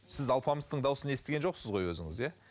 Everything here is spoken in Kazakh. сіз алпамыстың дауысын естіген жоқсыз ғой өзіңіз иә